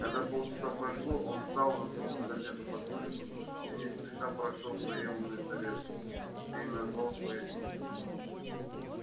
когда полчаса прошло он встал засунул газету подмышку и не спеша прошёл в приёмную совета где и назвал своё имя